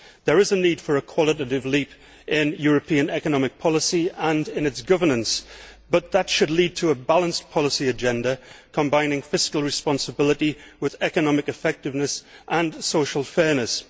There is a need for a qualitative leap in European economic policy and in its governance, but that should lead to a balanced policy agenda combining fiscal responsibility with economic effectiveness and social fairness.